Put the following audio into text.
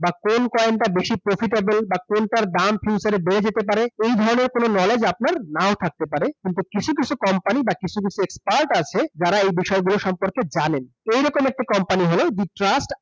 বা কোন coin টা বেশি profitable বা কোনটার দাম future এ বেড়ে যেতে পারে, এই ধরনের কোন knowledge আপনার নাও থাকতে পারে কিন্তু কিছু কিছু company বা কিছু কিছু expert আছে যারা এই সম্পর্কে জানে। এরকম একটি company ই হোল The Trust ICO